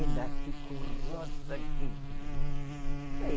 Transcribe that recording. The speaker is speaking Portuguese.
Ainda fico rosa aqui.